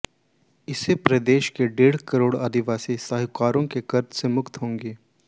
इससे प्रदेश के डेढ़ करोड़ आदिवासी साहूकारों के कर्ज से मुक्त होंगे